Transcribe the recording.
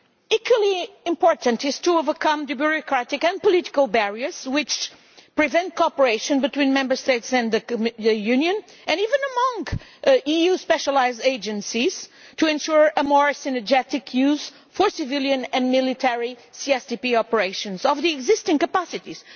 Equally important is overcoming the bureaucratic and political barriers which prevent cooperation between Member States and the Union, and even among EU specialised agencies, to ensure a more synergetic use, by civilian and military CSDP operations, of the existing capacities.